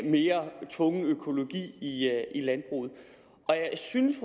mere tvungen økologi i landbruget og jeg synes